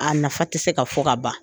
A nafa tɛ se ka fɔ ka ban